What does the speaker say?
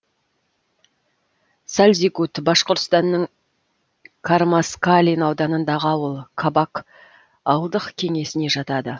сальзигут башқұртстанның кармаскалин ауданындағы ауыл кабак ауылдық кеңесіне жатады